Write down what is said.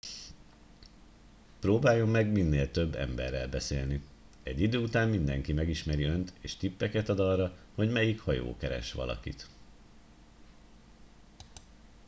próbáljon meg minél több emberrel beszélni egy idő után mindenki megismeri önt és tippeket ad arra hogy melyik hajó keres valakit